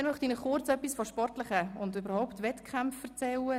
Weiter möchte ich Ihnen kurz etwas von Wettkämpfen erzählen.